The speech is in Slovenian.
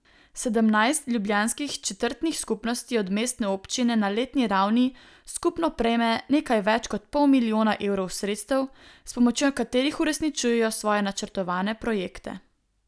Sedemnajst ljubljanskih četrtnih skupnosti od mestne občine na letni ravni skupno prejme nekaj več kot pol milijona evrov sredstev, s pomočjo katerih uresničujejo svoje načrtovane projekte.